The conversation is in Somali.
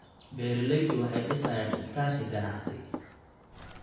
Beeraleydu waxay dhisayaan iskaashi ganacsi.